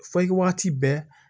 Fɔ wagati bɛɛ